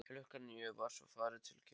Klukkan níu var svo farið til kirkju.